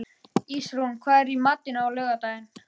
Ísrún, hvað er í matinn á laugardaginn?